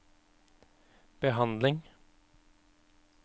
behandling